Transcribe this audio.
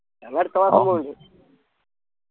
ഞങ്ങ അടുത്തമാസം പൊന്നിണ്ട്